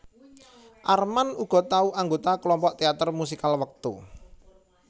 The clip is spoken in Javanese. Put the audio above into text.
Armand uga tau anggota kelompok teater musikal wektu